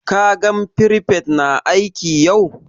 Ka gan firifet na aiki yau?